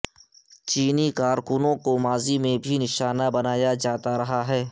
چینی کارکنوں کو ماضی میں بھی نشانہ بنایا جاتا رہا ہے